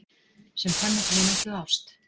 Sem fann upp vináttu og ást